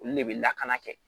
Olu de bɛ lakana kɛ